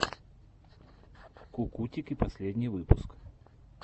кукутики последний выпуск